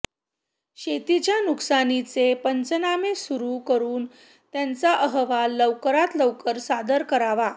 शेतीच्या नुकसानीचे पंचनामे सुरू करुन त्याचा अहवाल लवकरात लवकर सादर करावा